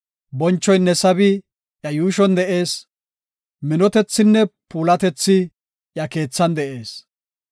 Bonchoynne sabi iya yuushon de7ees; minotethinne puulatethi iya keethan de7ees.